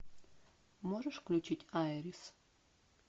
можешь включить айрис